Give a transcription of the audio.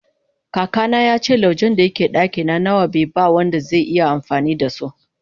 kaka na yace laujen da ke a dakin nawa be ba Wanda zai iya amfani da so